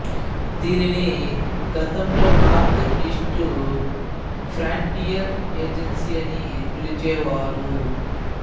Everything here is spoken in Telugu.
దీనిని గతంలో నార్త్ ఈస్ట్ ఫ్రాంటియర్ ఏజెన్సీ అని పిలిచేవారు